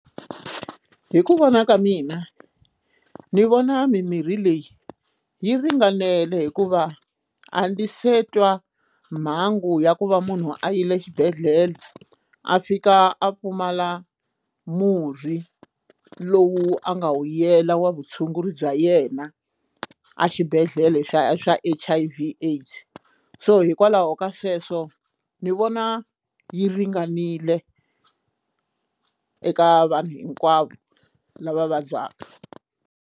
Hi ku vona ka mina ni vona mimirhi leyi yi ringanele hikuva a ndzi se twa mhangu ya ku va munhu a yile exibedhlele a fika a pfumala murhi lowu a nga wu yela wa vutshunguri bya yena a xibedhlele xa xa H_I_V AIDS so hikwalaho ka sweswo ni vona yi ringanile eka vanhu hinkwavo lava vabyaka.